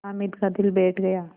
हामिद का दिल बैठ गया